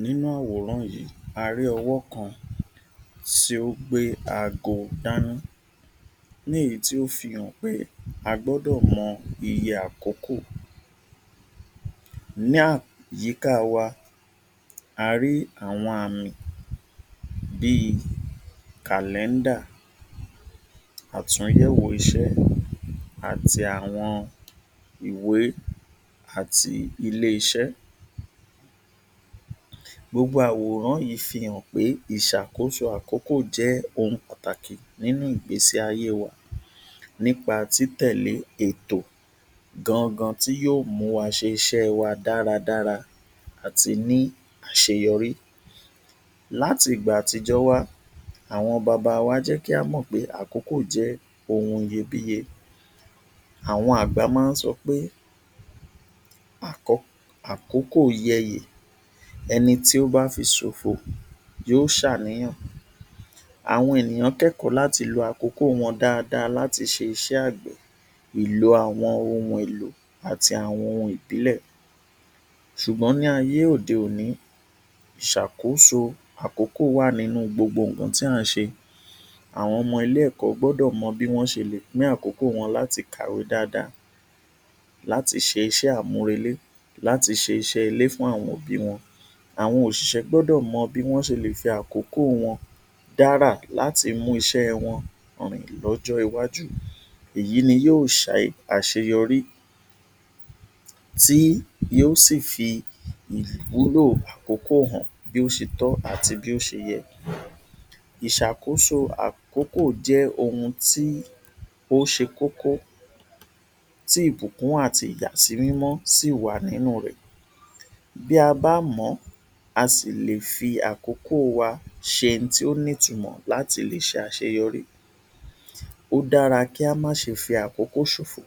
Nínú àwòrán yìí, a rí ọwọ́ kan tí ó gbé aago dání, ní èyí tó fi hàn pé a gbọ́dọ̀ mọ iye àkókò. Ní àyíká wà, a rí àwọn àmì bí kàlẹ́ẹ́dà, àtùyẹ̀wò iṣẹ́ àti àwọn ìwé àti ilé-iṣẹ́. Gbogbo àwòrán yìí fi hàn pé ìṣàkóso àkókò jẹ́ ohun pàtàkì nínú ìgbésí ayé wa nípa títẹ̀lé ètò gan gan tí yóò mú wa ṣe iṣẹ́ wa dára dára àti ní àṣeyọrí. Láti ìgbà àtijọ́ wá, àwọn bàbá wa jẹ́ kí a mọ̀ pé àkókò jẹ́ ohun iyebíye. Àwọn àgbà máa ń sọ pé "akọ, àkókò ò yẹ yẹ̀, ẹni tí ó bá fi ṣòfò yóò ṣàníyàn". Àwọn ènìyàn kẹ́kọ̀ọ́ láti lo àkókò wọn dáadáa láti ṣe iṣẹ́ àgbẹ̀ ìlò àwọn ohun èlò àti àwọn ohun ìbílẹ̀. Ṣùgbọ́n ní ayé òde-òní, ìṣàkóso àkókò wà nínú gbogbo ohun tí a ń ṣe. Àwọn ọmọ ilé ẹ̀kọ́ gbọdọ̀ mó bí wọ́n ṣe lè pín àkókò wọn láti kàwé dáadáa, láti ṣe iṣẹ́ àmúrelé, láti ṣe iṣẹ́ ilé fún àwọn òbí wọn. Àwọn òṣìṣẹ́ gbọ́dọ̀ mọ bí wọn ṣe lè fi àkókò wọn dárà láti mú iṣẹ́ wọn rìn lọ́jọ́ iwájú. Èyí ni yóò ṣe àṣeyọrí tí yóò sí fi ìwúlò àkókò hàn bí ó ṣe tọ́ àti bí ó ṣe yẹ. Ìṣàkóso àkókò jẹ́ ohun tí ó ṣe kókó tí ìbùkún àti ìyàsí mímọ́ sì wà nínú rẹ̀. Bí a bá mọ̀ ọ́n, a sì lè fi àkókò wa ṣe ohun tó ní ìtumọ̀ láti lè ṣe àṣeyọrí. Ó dára kí a má ṣe fi àkókò ṣòfò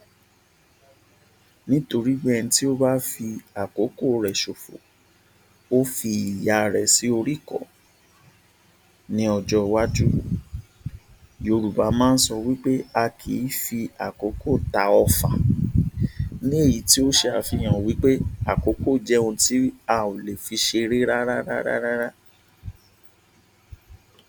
nítorí ẹni tí ó bá fi àkókò rẹ̀ ṣòfò ó fi ìyà ara rẹ̀ sórí ìkọ́ ní ọjọ́ iwájú. Yorùbá máa ń sọ wí pé " a kì í fi àkókò tá ọ̀fà" ní èyí tí ó ṣe àfihàn wí pé àkókò jẹ́ ohun tí a ó lè fi ṣeré rárá rárá rárá.